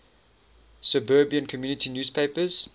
suburban community newspapers